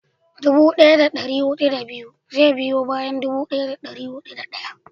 dubu daya da dari hudu da biyu zai biyo bayan dubu daya da dari hudu da daya